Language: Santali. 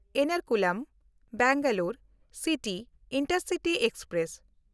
ᱮᱨᱱᱟᱠᱩᱞᱩᱢ–ᱵᱮᱝᱜᱟᱞᱳᱨ ᱥᱤᱴᱤ ᱤᱱᱴᱟᱨᱥᱤᱴᱤ ᱮᱠᱥᱯᱨᱮᱥ